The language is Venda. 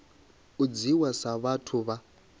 u dzhiiwa sa vhathu vha